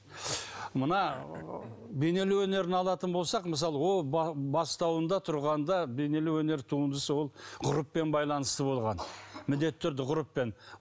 мына бейнелеу өнерін алатын болсақ мысалы ол бастауында тұрғанда бейнелеу өнер туындысы болып ғұрыппен байланысты болған міндетті түрде ғұрыппен